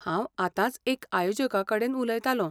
हांव आंतांच एका आयोजका कडेन उलयतालों.